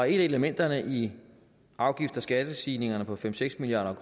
elementerne i afgifts og skattestigningerne på fem seks milliard